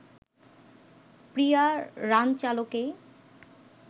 প্রিয়া রানচালকেই